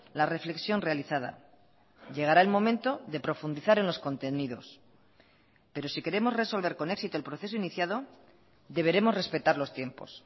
la reflexión realizada llegará el momento de profundizar en los contenidos pero si queremos resolver con éxito el proceso iniciado deberemos respetar los tiempos